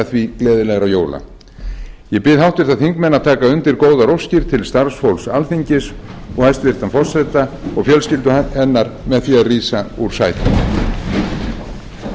því gleðilegra jóla ég bið háttvirta þingmenn að taka undir góðar óskir til starfsfólks alþingis og hæstvirtan forseta og fjölskyldu hennar með því að rísa úr sætum